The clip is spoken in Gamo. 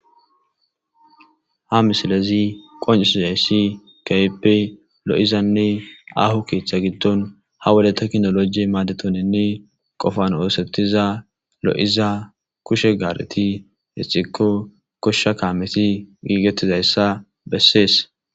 Ha missilezi qoncisizayssi kehippe loo'zanne aaho keeththa gidon ha wode teknoloje madethizanne qoffan osethiza loo'zza kushe garethi ixikko gosha kamethi gigethizayssa besses.